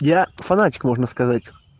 я фанатик можно сказать